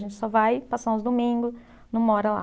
A gente só vai passar uns domingos, não mora lá.